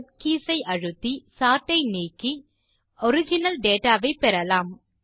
CTRLZ keys ஐ அழுத்தி sort ஐ நீக்கி ஒரிஜினல் டேட்டா வை பெறலாம்